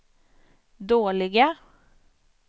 dåliga